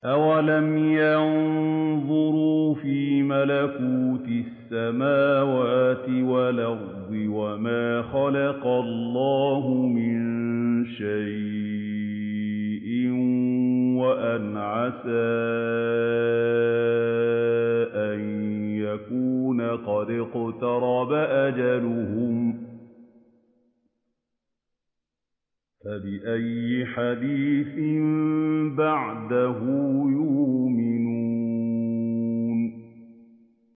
أَوَلَمْ يَنظُرُوا فِي مَلَكُوتِ السَّمَاوَاتِ وَالْأَرْضِ وَمَا خَلَقَ اللَّهُ مِن شَيْءٍ وَأَنْ عَسَىٰ أَن يَكُونَ قَدِ اقْتَرَبَ أَجَلُهُمْ ۖ فَبِأَيِّ حَدِيثٍ بَعْدَهُ يُؤْمِنُونَ